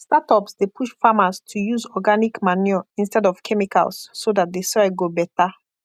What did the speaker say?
startups dey push farmers to use organic manure instead of chemicals so that the soil go better